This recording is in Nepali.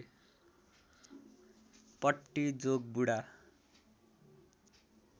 पट्टी जोगबुढा